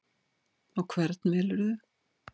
Og hvern velurðu?